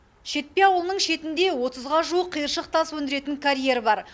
шетпе ауылының шетінде отызға жуық қиыршық тас өндіретін карьер бар